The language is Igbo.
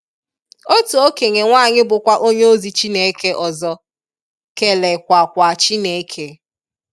otu okenye nwanyi bukwa onye ozi Chineke ọzọ, kele kwa kwa Chineke.